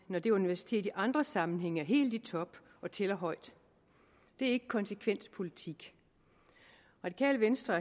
når det universitet i andre sammenhænge er helt i top og tæller højt det er ikke konsekvent politik radikale venstre